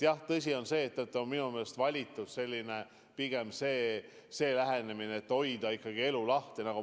Jah, tõsi on see, et minu meelest on valitud pigem lähenemine, et püüame elu lahti hoida.